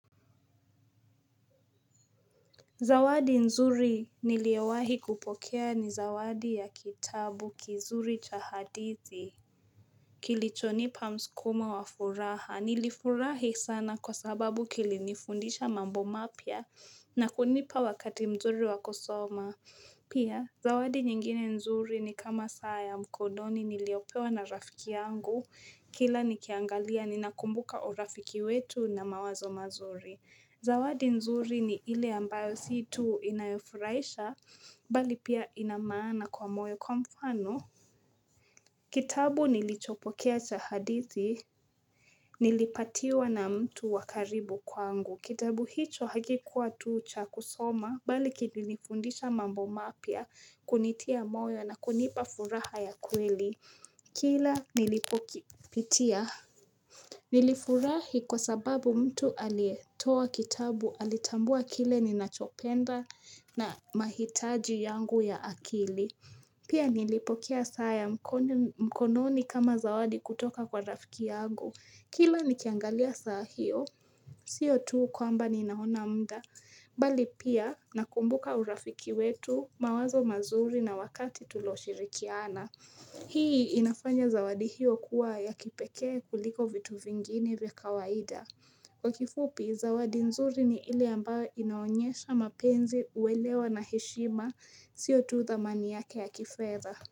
Zawadi nzuri niliyowahi kupokea ni zawadi ya kitabu kizuri chahadithi. Kilichonipa mskumo wa furaha. Nilifurahi sana kwa sababu kilinifundisha mambo mapya na kunipa wakati mzuri wakusoma. Pia, zawadi nyingine nzuri ni kama saa ya mkononi niliyopewa na rafiki yangu. Kila nikiiangalia ninakumbuka urafiki wetu na mawazo mazuri. Zawadi nzuri ni ile ambayo situ inayofurahisha bali pia inamaana kwa moyo kwa mfano. Kitabu nilichopokea cha hadithi nilipatiwa na mtu wakaribu kwangu. Kitabu hicho hakikuwa tucha kusoma bali kilinifundisha mambo mapya kunitia moyo na kunipa furaha ya kweli. Kila nilipo kipitia. Nilifurahi kwa sababu mtu aliyetoa kitabu alitambua kile ninachopenda na mahitaji yangu ya akili. Pia nilipo kea saaya mkononi kama zawadi kutoka kwa rafiki yangu. Kila nikiangalia saa hio, siyo tuu kwamba ninaona muda. Bali pia nakumbuka urafiki wetu mawazo mazuri na wakati tuloshirikiana. Hii inafanya zawadi hiyo kuwa ya kipekee kuliko vitu vingine vya kawaida. Kwa kifupi, zawadi nzuri ni ile ambayo inaonyesha mapenzi uelewa na heshima siotu thamani yake ya kifedha.